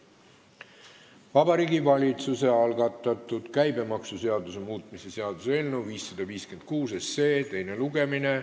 Vabariigi Valitsuse algatatud käibemaksuseaduse muutmise seaduse eelnõu 556 teine lugemine.